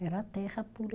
Era terra pura.